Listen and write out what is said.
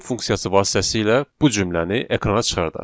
Print funksiyası vasitəsilə bu cümləni ekrana çıxardaq.